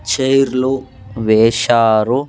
Chair లు వేశారు.